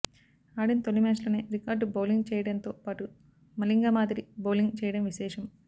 ఆడిన తొలి మ్యాచ్లోనే రికార్డు బౌలింగ్ చేయడంతో పాటు మలింగ మాదిరి బౌలింగ్ చేయడం విశేషం